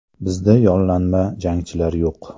Bizda yollanma jangchilar yo‘q.